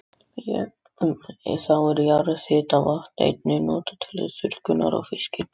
Þá er jarðhitavatn einnig notað til þurrkunar á fiski.